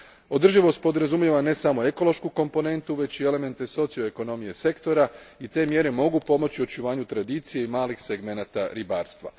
Održivost podrazumijeva ne samo ekološku komponentu, već i elemente socio ekonomije sektora i te mjere mogu pomoći očuvanju tradicije i malih segmenata ribarstva.